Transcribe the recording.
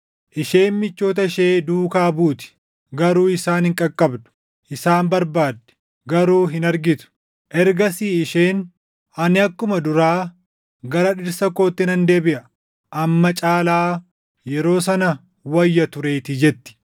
Isheen michoota ishee duukaa buuti; garuu isaan hin qaqqabdu; isaan barbaaddi; garuu hin argitu. Ergasii isheen, ‘Ani akkuma duraa gara dhirsa kootti nan deebiʼa; amma caalaa yeroo sana wayya tureetii’ jetti.